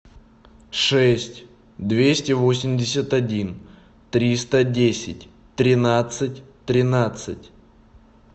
шесть двести восемьдесят один триста десять тринадцать тринадцать